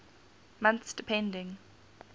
months depending